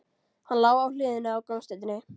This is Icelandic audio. Hann lá á hliðinni á gangstéttinni.